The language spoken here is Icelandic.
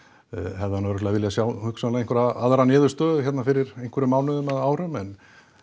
hefði hann örugglega viljað sjá hérna hugsanlega einhverja aðra niðurstöðu hérna fyrir einhverjum mánuðum eða árum en